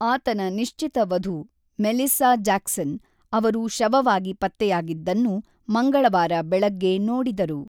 ಆತನ ನಿಶ್ಚಿತ ವಧು ಮೆಲಿಸ್ಸಾ ಜಾಕ್ಸನ್, ಅವರು ಶವವಾಗಿ ಪತ್ತೆಯಾಗಿದ್ದನ್ನು ಮಂಗಳವಾರ ಬೆಳಗ್ಗೆ ನೋಡಿದರು.